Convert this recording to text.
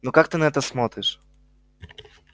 ну как ты на это смотришь